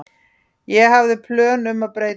Ég hafði plön um að breyta öllu.